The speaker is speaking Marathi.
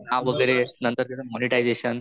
नाव वगैरे नंतर त्याच मोडिटाईझशन